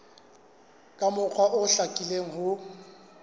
ka mokgwa o hlakileng ho